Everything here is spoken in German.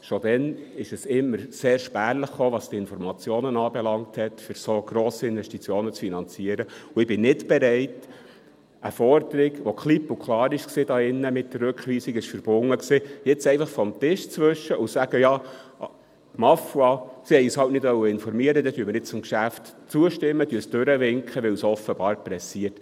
Schon damals kamen die Informationen immer sehr spärlich, um so grosse Investitionen zu finanzieren, und ich bin nicht bereit, eine Forderung, die hier in diesem Saal klipp und klar mit der Rückweisung verbunden war, jetzt einfach vom Tisch zu wischen und zu sagen: «Ja, ma foi, sie wollten uns halt nicht informieren, dann stimmen wir jetzt dem Geschäft zu, winken es durch, weil es offenbar pressiert.